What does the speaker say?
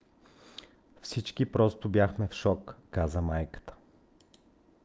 "всички просто бяхме в шок, каза майката